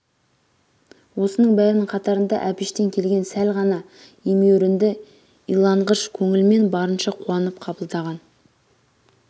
осының бәрінің қатарында әбіштен келген сәл ғана емеурінді иланғыш көңілмен барынша қуанып қабылдаған